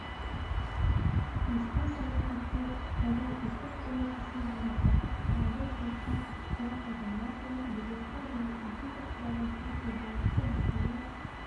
еске сала кетсек жылдың үздік ойыншысы марапаты алтын допқа криштиануроналду ливерпуль және египет құрамасының футболшысы мохаммед